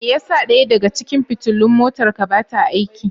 Me yasa ɗaya daga cikin fitilun motarka ba ta aiki?